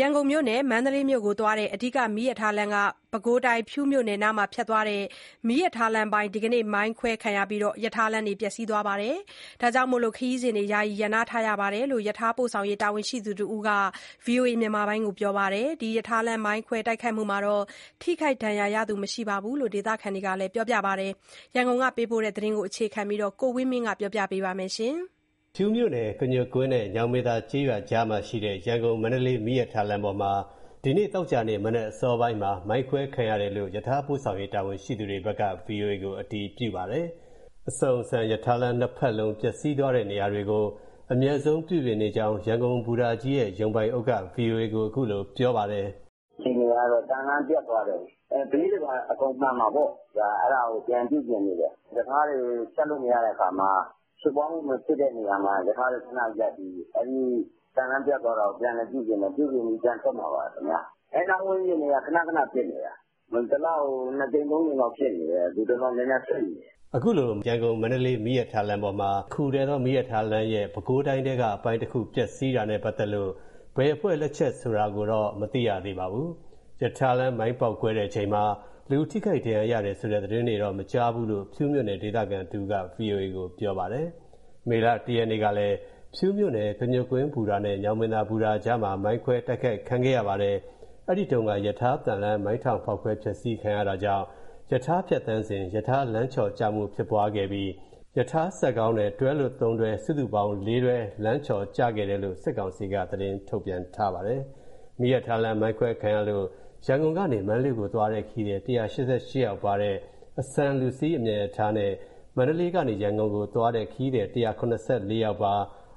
ရန်ကုန်မြို့နဲ့ မန္တလေးမြို့ကိုသွားတဲ့ အဓိက မီးရထားလမ်းက ပဲခူးတိုင်း၊ ဖြူးမြို့နယ်နားဖြတ်သွားတဲ့ မီးရထားလမ်းအပိုင်းမှာ ဒီကနေ့ မိုင်းခွဲခံရပြီး ရထားလမ်း ပျက်စီးသွားတဲ့အတွက် ခရီးစဉ်တွေ ယာယီရပ်နားထားတယ်လို့ ရထားပို့ဆောင်ရေး တာဝန်ရှိသူတဦးက ဗွီအိုအေကို ပြောပါတယ်။ ရထားလမ်း မိုင်းခွဲတိုက်ခိုက်မှုမှာ ထိခိုက်ဒဏ်ရာရသူတော့ မရှိဘူးလို့ ဒေသခံတွေက ပြောပါတယ်။ ရန်ကုန်က ပေးပို့လာတဲ့သတင်းကို ကိုဝင်းမင်းက ပြောပြပါမယ်။ ဖြူးမြို့နယ်၊ ကညွတ်ကွင်းနဲ့ ညောင်ပင်သာကျေးရွာ ကြားမှာရှိတဲ့ ရန်ကုန်-မန္တလေး မီးရထားလမ်းပေါ်မှာ ဒီနေ့ သောကြာနေ့ မနက်အစောပိုင်းမှာ မိုင်းခွဲခံရတယ်လို့ ရထားပို့ဆောင်ရေး တာ၀န်ရှိသူတွေဘက်က ဗွီအိုအေကို အတည်ပြုပါတယ်။ အဆုန်၊ အဆန် ရထားလမ်း နှစ်ဖက်လုံး ပျက်စီးသွားတဲ့နေရာတွေကို အမြန်ဆုံး ပြုပြင်နေကြောင်း ရန်ကုန်ဘူတာကြီးရဲ့ ရုံပိုင်အုပ်က ဗွီအိုအေကို ပြောပါတယ်။ " အခြေအနေကတော့ သံလမ်းပျက်သွားတယ်။ ဘေးတွေဘာတွေ အကုန်မှန်မှာပေါ့၊ အဲဒါကို ပြန်ပြုပြင်နေတယ်။ ရထားတွေ ဖြတ်လို့မရတဲ့အခါမှာ ဖြစ်ပွားမှု မဖြစ်တဲ့နေရာမှာ ရထားတွေခဏရပ်ပြီး သံလမ်းပျက်သွားတာကို ပြန်လည်ပြုပြင်တယ်၊ ပြုပြင်ပြီး ပြန်ထွက်မှာပါခင်ဗျ။ အဲနားဝန်းကျင်တွေက ခဏခဏဖြစ်နေတာ၊ တလကို နှစ်ကြိမ် သုံးကြိမ်လောက် ဖြစ်နေတယ် ဒီတလော နည်းနည်းစိပ်နေတယ်။" အခုလို ရန်ကုန် မန္တလေးသွားတဲ့ တခုတည်းသော မီးရထားလမ်းရဲ့ ပဲခူးတိုင်းထဲက အပိုင်းတခု ပျက်စီးတာနဲ့ပတ်သက်လို့ ဘယ်အဖွဲ့လက်ချက်လဲဆိုတာတော့ မသိရသေးပါဘူး။ ရထားလမ်း မိုင်းပေါက်ကွဲတဲ့ အချိန်မှာ လူထိခိုက် ဒဏ်ရာရတယ်ဆိုတဲ့ သတင်းတော့ မကြားဘူးလို့ ဖြူးမြို့နယ် ဒေသခံတဦးက ဗွီအိုအေကို ပြောပါတယ်။ မေလ ၁ ရက်နေ့ကလည်း ဖြူးမြို့နယ် ကညွတ်ကွင်းဘူတာနဲ့ ညောင်ပင်သာဘူတာအကြားမှာ မိုင်းခွဲတိုက်ခိုက်ခံခဲ့ရပါတယ်။ အဲဒီတုန်းက ရထားသံလမ်း မိုင်းထောင်ဖောက်ခွဲ ဖျက်ဆီး ခံရတာကြောင့် ရထားဖြတ်သန်းစဉ် ရထားလမ်းချော်ကျမှုဖြစ်ပွားခဲ့ပြီး ရထားစက်ခေါင်းနဲ့ တွဲလွတ် ၃ တွဲ စုစုပေါင်း တွဲ (၄) တွဲ လမ်းချော်ကျခဲ့တယ်လို့ စစ်ကောင်စီက သတင်းထုတ်ပြန်ထားပါတယ်။ မီးရထားလမ်း မိုင်းခွဲခံရလို့ ရန်ကုန်ကနေ မန္တလေးကို သွားတဲ့ ခရီးသည် ၁၈၈ ယောက်ပါတဲ့ အဆန်လူစီး အမြန်ရထားနဲ့ မန္တလေးကနေ ရန်ကုန်ကို သွားတဲ့ ခရီးသည် ၁၇၄ ယောက်ပါ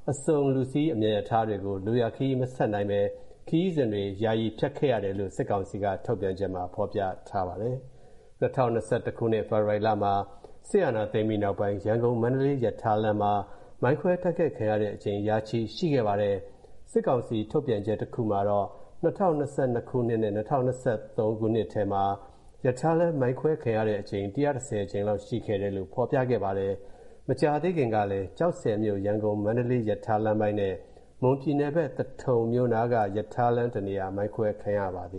အစုန်လူစီး အမြန်ရထားတွေကို လိုရာခရီးမဆက်နိုင်ဘဲ ခရီးစဉ်တွေ ယာယီဖျက်ခဲ့ရတယ်လို့ စစ်ကောင်စီ ထုတ်ပြန်ချက်မှာ ဖော်ပြထားပါတယ်။ ၂၀၂၁ ခုနှစ် ဖေဖေါ်ဝါရီလမှာ စစ်အာဏာသိမ်းပြီးနောက်ပိုင်း ရန်ကုန်-မန္တလေးရထားလမ်းမှာ မိုင်းခွဲ တိုက်ခံခဲ့ရတဲ့ အကြိမ် ရာချီရှိခဲ့ပါတယ်။ စစ်ကောင်စီထုတ်ပြန်ချက်တခုမှာတော့ ၂၀၂၂ နဲ့ ၂၀၂၃ ခုနှစ်ထဲမှာ ရထားလမ်း မိုင်းခွဲခံရတဲ့ အကြိမ် ၁၁၀ ကြိမ်လောက် ရှိခဲ့တယ်လို့ ဖေါ်ပြခဲ့ပါတယ်။ မကြာသေးခင်ကလည်း ကျောက်ဆည်မြို့ ရန်ကုန်-မန္တလေးရထားလမ်းပိုင်းနဲ့ မွန်ပြည်နယ် သထုံမြို့နားက ရထားလမ်းတနေရာ မိုင်းခွဲခံခဲ့ရပါတယ